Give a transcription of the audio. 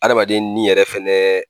Adamaden ni yɛrɛ fɛnɛ